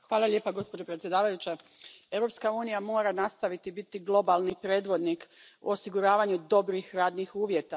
Poštovana predsjedavajuća, Europska unija mora nastaviti biti globalni predvodnik u osiguravanju dobrih radnih uvjeta.